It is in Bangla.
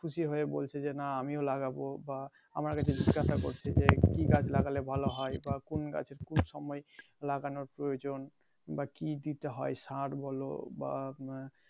খুশি হয়ে বলছে যে নাহ আমিও লাগাবো বা আমার কাছে জিজ্ঞাসা করছে যে কি গাছ লাগালে ভালো হয় বা কোন গাছ কোন সময় লাগানোর প্রয়োজন বা কি দিতে হয় সার বলো বা উম